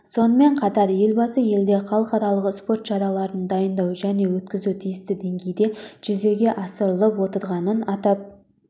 сонымен қатар елбасы елде халықаралық спорт шараларын дайындау және өткізу тиісті деңгейде жүзеге асырылып отырғанын атап